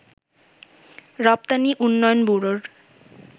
রপ্তানি উন্নয়ন ব্যুরোর